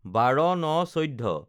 ১২/০৯/১৪